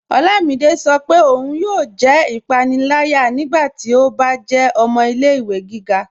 Ọlámídé sọ́ pé óun yóò jẹ́ ipànìlàyà nígbàtí ó bá jẹ́ ọmọ ilẹ̀-ìwẹ̀ gíga